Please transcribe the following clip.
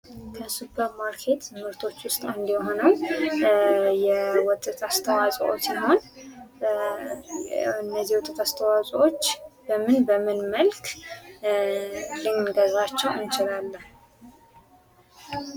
ከሱፐር ማርኬት ምርቶች ዉስጥ አንዱ የሆነው የወተት አስተዋጾ አንዱ ሲሆን እነዚህ የወተት አስተዋጾዎች በምን በምን መልክ ልንገዛቸው እንችላለን?